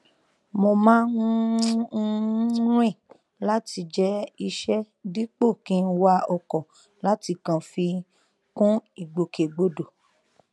mo má um n rìn láti jẹ iṣẹ dípò kí n wa ọkọ láti kàn fi kún ìgbòkegbodò